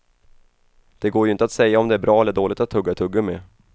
Det går ju inte att säga om det är bra eller dåligt att tugga tuggummi.